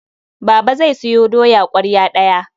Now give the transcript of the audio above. Baba zai sayo doya ƙwarya ɗaya.